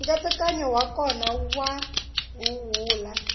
nkatsakanyo wa kona wa huhula